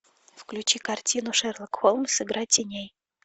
включи картину шерлок холмс игра теней